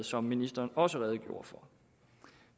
som ministeren også redegjorde for